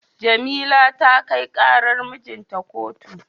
Jamila ta kai karar mijinta a kotu.